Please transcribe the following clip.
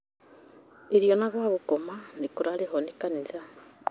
Irio na gwa gũkoma ikarĩhĩrwo nĩ kanitha